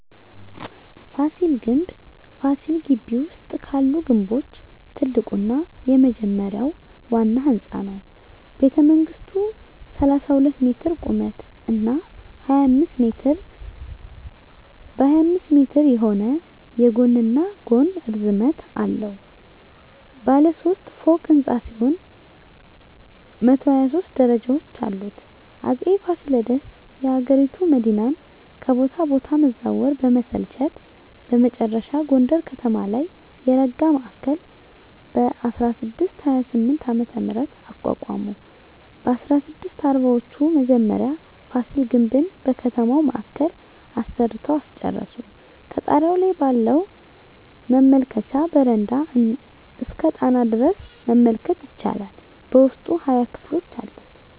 ፋሲል ግምብ ፋሲል ግቢ ውስጥ ካሉት ግምቦች ትልቁና የመጀመሪያው ዋና ህንጻ ነው። ቤተመንግሥቱ 32 ሜትር ቁመት እና 25 ሜትር በ25 ሜትር የሆነ የጎንና ጎን ርዝመት አለው። ባለ ሦስት ፎቅ ሕንፃ ሲሆን 123 ደረጃዎች አሉት። አጼ ፋሲለደስ የአገሪቱ መዲናን ከቦታ ቦታ መዛወር በመሰልቸት በመጨረሻ ጎንደር ከተማ ላይ የረጋ ማዕከል በ1628ዓ.ም. አቋቋሙ። በ1640ወቹ መጀመሪያ ፋሲል ግምብን በከተማው ማዕከል አሰርተው አስጨረሱ። ከጣሪያው ላይ ባለው መመልከቻ በረንዳ እስከ ጣና ሐይቅ ድረስ መመልከት ይቻላል። በውስጡ 20 ክፍሎች አሉት።